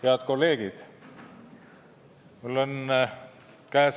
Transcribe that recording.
Head kolleegid!